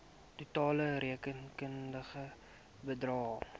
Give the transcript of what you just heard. totale rekenkundige bedrag